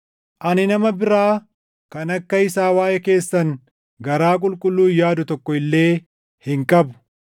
Ani nama biraa kan akka isaa waaʼee keessan garaa qulqulluun yaadu tokko illee hin qabu.